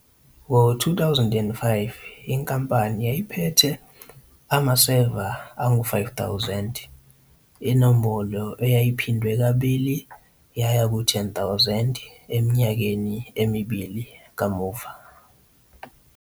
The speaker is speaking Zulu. Ngo-2005 inkampani yayiphethe amaseva angu-5 000, inombolo eyayiphindwe kabili yaya ku-10,000 eminyakeni emibili kamuva.